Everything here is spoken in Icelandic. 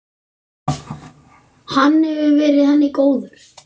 Hann hefur verið henni góður.